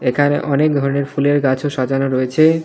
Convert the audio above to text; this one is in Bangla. এখানে অনেক ধরনের ফুলের গাছও সাজানো রয়েছে.